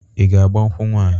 I ga-agba nkwụ nwanyị?